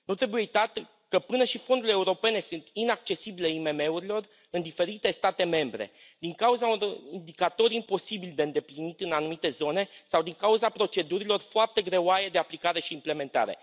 Nu trebuie uitat că până și fondurile europene sunt inaccesibile IMM urilor în diferite state membre, din cauza unor indicatori imposibil de îndeplinit în anumite zone sau din cauza procedurilor foarte greoaie de aplicare și implementare.